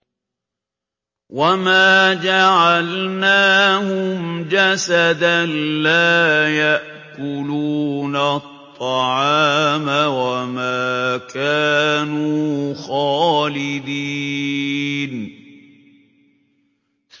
وَمَا جَعَلْنَاهُمْ جَسَدًا لَّا يَأْكُلُونَ الطَّعَامَ وَمَا كَانُوا خَالِدِينَ